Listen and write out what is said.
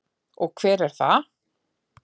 Og hver er það?